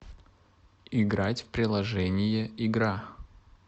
играть в приложение игра